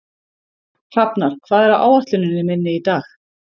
Hrafnar, hvað er á áætluninni minni í dag?